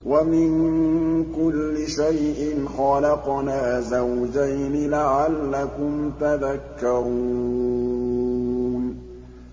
وَمِن كُلِّ شَيْءٍ خَلَقْنَا زَوْجَيْنِ لَعَلَّكُمْ تَذَكَّرُونَ